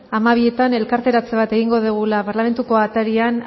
hamabizeroetan elkarteratze bat egingo dugula parlamentuko atarian